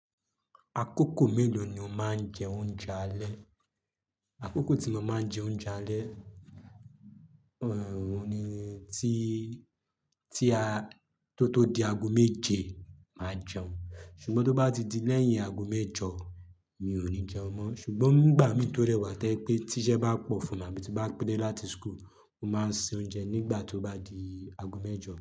Àkókò mélòó ni o máa ń jẹ oúnjẹ alẹ́? Àkókò tí mo máa ń jẹ oúnjẹ alẹ́, ọ̀nà òhun ni tí, tí a kó tó di aago méje màá jẹun, ṣùgbọ́n tó bá ti di lẹ́yìn aago mẹ́jọ mi ò ní jẹun mọ́. Ṣùgbọ́n bgbà mi tó dẹ wà to jẹ́ pé tí iṣẹ́ bá pọ̀ fún ara mí tí n bá pé dé láti school, mo máa ń se oúnjẹ nígbà tó bá di aago mẹ́jọ.